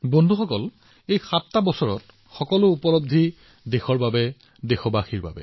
বন্ধুসকল এই ৭ বছৰত যি সফলতা লাভ কৰা হৈছে সেয়া হৈছে দেশৰ দেশবাসীৰ